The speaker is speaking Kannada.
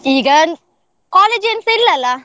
ಈಗ college ಎಂತ ಇಲ್ಲಅಲ್ಲ?